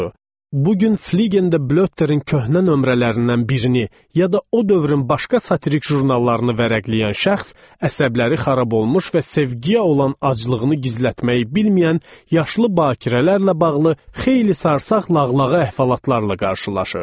Bu gün Fligendə Blötterin köhnə nömrələrindən birini, ya da o dövrün başqa satirik jurnallarını vərəqləyən şəxs əsəbləri xarab olmuş və sevgiyə olan aclığını gizlətməyi bilməyən yaşlı bakirələrlə bağlı xeyli sarsaq lağlağa əhvalatlarla qarşılaşır.